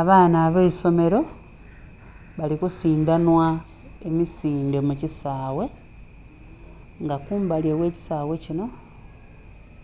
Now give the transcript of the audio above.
Abaana abeisomero bali kusidanhwa emisindhe mu kisaghe nga kumbali oghe kisaghe kinho